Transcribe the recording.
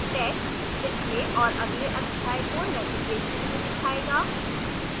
text पिछले और अगले अध्याय को navigation में दिखाएगा